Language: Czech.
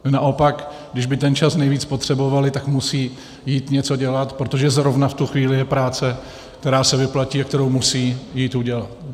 Naopak když by ten čas nejvíc potřebovali, tak musí jít něco dělat, protože zrovna v tu chvíli je práce, která se vyplatí a kterou musí jít udělat.